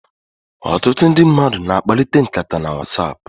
Ọtụtụ ndi mmadu na-akpakalita nkata na Whatsapp.